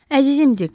Əzizim Dik.